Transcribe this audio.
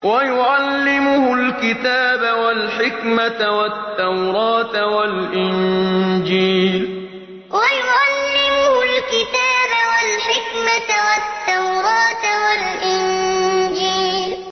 وَيُعَلِّمُهُ الْكِتَابَ وَالْحِكْمَةَ وَالتَّوْرَاةَ وَالْإِنجِيلَ وَيُعَلِّمُهُ الْكِتَابَ وَالْحِكْمَةَ وَالتَّوْرَاةَ وَالْإِنجِيلَ